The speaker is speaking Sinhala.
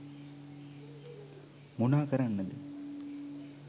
මොනා කරන්නද